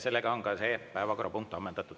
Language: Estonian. See päevakorrapunkt on ammendatud.